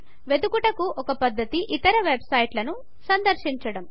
వెదుకుటకు ఒక పధ్ధతి ఇతర వెబ్ సైట్ లను సందర్శించడం